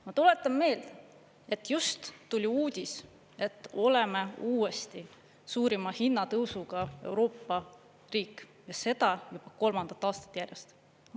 Ma tuletan meelde, et just tuli uudis, et oleme uuesti suurima hinnatõusuga Euroopa riik, seda juba kolmandat aastat järjest.